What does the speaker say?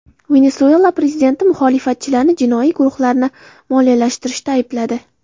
Venesuela prezidenti muxolifatchilarni jinoiy guruhlarni moliyalashtirishda aybladi.